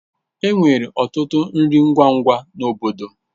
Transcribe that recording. Enwere ọtụtụ nri ngwa ngwa na obodo.